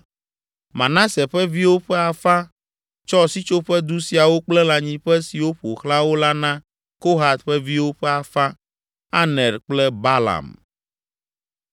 Manase ƒe viwo ƒe afã tsɔ Sitsoƒedu siawo kple lãnyiƒe siwo ƒo xlã wo la na Kohat ƒe viwo ƒe afã: Aner kple Balaam.